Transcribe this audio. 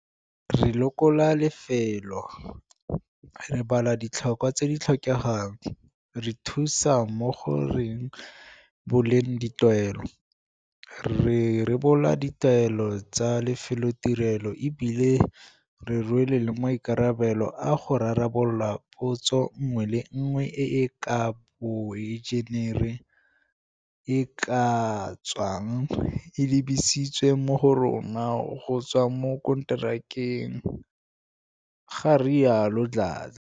Re lekola lefelo, re bala ditlhokwa tse di tlhokegang, re thusa mo go re boleng ditaelo, re rebola di taelo tsa lefelotirelo e bile re rwele le maikarabelo a go rarabolola potso nngwe le nngwe e e ka ga boenjenere e e ka tswang e lebisitswe mo go rona go tswa kwa borakonteraka, ga rialo Dladla.